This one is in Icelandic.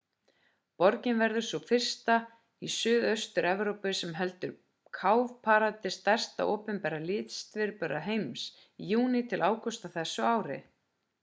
borgin verður sú fyrsta í suðaustur evrópu sem heldur cowparade stærsta opinbera listviðburð heims í júní til ágúst á þessu ári